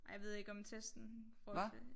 Ej jeg ved ikke om testen i forhold til